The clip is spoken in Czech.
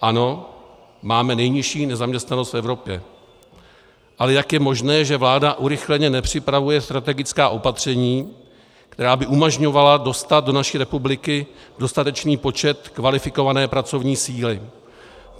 Ano, máme nejnižší nezaměstnanost v Evropě, ale jak je možné, že vláda urychleně nepřipravuje strategická opatření, která by umožňovala dostat do naší republiky dostatečný počet kvalifikované pracovní síly?